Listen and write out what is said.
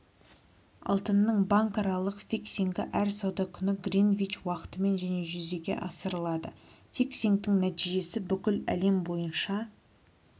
алтынның банкаралық фиксингі әр сауда күні гринвич уақытымен және жүзеге асырылады фиксингтің нәтижесі бүкіл әлем бойынша